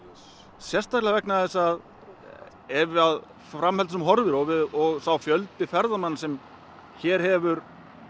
sérstaklega vegna þessa að ef fram heldur sem horfir og og sá fjöldi ferðamanna sem hér hefur